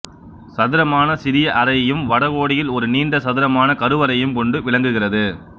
சதுரமான சிறிய அறையையும் வட கோடியில் ஒரு நீண்ட சதுரமான கருவறையையும் கொண்டு விளங்குகிறது